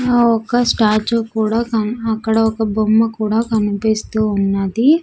ఆ ఒక్క స్టాచు కూడా కన్ అక్కడ ఒక బొమ్మ కూడా కన్పిస్తూ ఉన్నది.